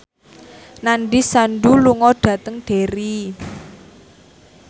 Nandish Sandhu lunga dhateng Derry